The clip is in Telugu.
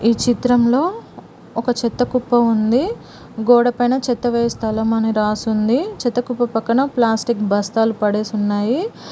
ఈ చిత్రంలో ఒక చెత్త కుప్ప ఉంది గోడ పైన చెత్త వేయు స్థలం అని రాసుంది చెత్త కుప్ప పక్కన ప్లాస్టిక్ బస్తాలు పడేసి ఉన్నాయి.